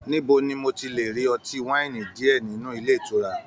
Níbo ní mo ti le rí ọtí waini diẹ nínú ilé ìtura?